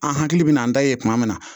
An hakili bɛ n'an da ye kuma min na